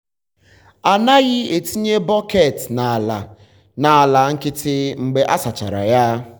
a naghị etinye bọket n’ala n’ala nkịtị mgbe a sachara ha.